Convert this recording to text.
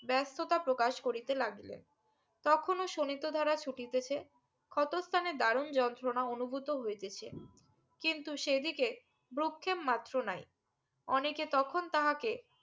ব্যস্ততা প্রকাশ করিতে লাগিলেন তখনও শোণিত ধারা ছুটিতেছে ক্ষত স্থানে দারুন যন্ত্রণা অনুভূত হইতেছে কিন্তু সেই দিকে ভ্রুক্ষেপ মাত্র নাই অনেকে তখন তাহাকে